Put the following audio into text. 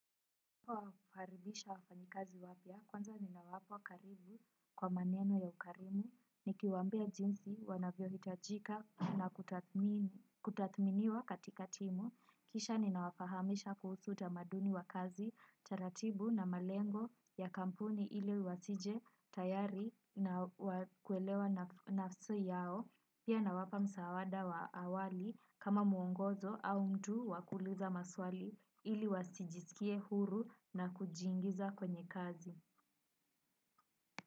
Kwa faribisha wafanyikazi wapya, kwanza ninawapa karibu kwa maneno ya ukarimu, nikiwambia jinsi wanavyo hitajika na kutadhmini kutathminiwa katika timu, kisha ninawafahamisha kuhusu utamaduni wa kazi, taratibu na malengo ya kampuni ili wasije tayari na wakuelewa nafsi yao, pia na wapa msawada wa awali kama muongozo au mtu wakuuliza maswali ili wasijisikie huru na kujiingiza kwenye kazi.